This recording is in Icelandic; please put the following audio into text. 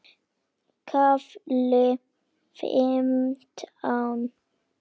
KAFLI FIMMTÁN